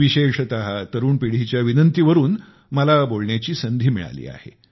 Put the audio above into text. विशेषत तरुण पिढीच्या विनंती वरून मला बोलण्याची संधी मिळाली आहे